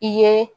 I ye